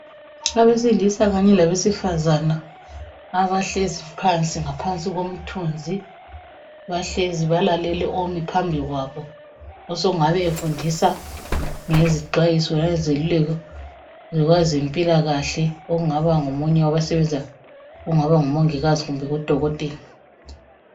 Abesilisa kanye labesifazana abahlezi phansi ngaphansi komthunzi balalele omi phambi kwabo osengabe efundisa ngezixwayiso langezeluleko zokwezempilakahle okungaba ngumongikazi kumbe udokotela.